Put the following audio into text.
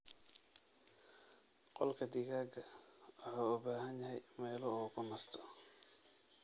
Qolka digaaga wuxuu u baahan yahay meelo uu ku nasto.